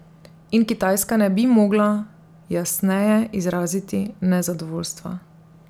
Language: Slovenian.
In Kitajska ne bi mogla jasneje izraziti nezadovoljstva.